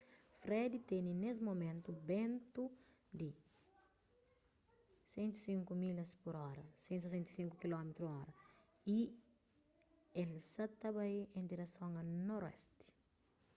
fred tene nes mumentu bentu di 105 milhas pur óra 165 km/h y el sa ta bai en direson a noroesti